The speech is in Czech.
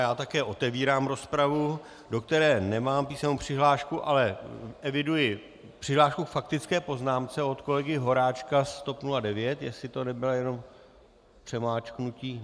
Já také otevírám rozpravu, do které nemám písemnou přihlášku, ale eviduji přihlášku k faktické poznámce od kolegy Horáčka z TOP 09 - jestli to nebylo jenom přemáčknutí.